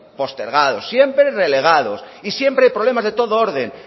postergados siempre relegados y siempre problemas de todo orden